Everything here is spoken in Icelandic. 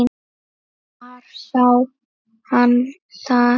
Hvar sá hann það?